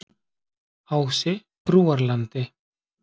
Ási Brúarlandi